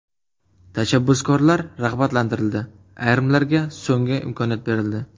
Tashabbuskorlar rag‘batlantirildi, ayrimlarga so‘nggi imkoniyat berildi.